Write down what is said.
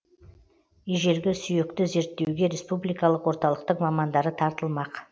ежелгі сүйекті зерттеуге республикалық орталықтың мамандары тартылмақ